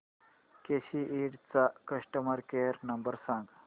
केसी इंड चा customer care number सांग